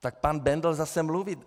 Tak pan Bendl zase mluví.